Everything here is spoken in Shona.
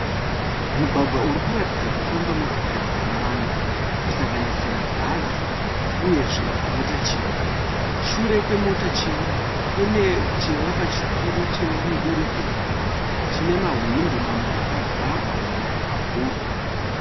Mugwagwa iri kuratidza kufamba motokari dzakawanda kusanganisira bhazi uyezve mota chena. Shure kwemota chena kune chivakwa chikuru chemudurikidzanwa chine mahwindo mamwe akavharwa mamwe akavhurwa.